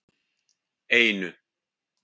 einu